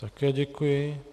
Také děkuji.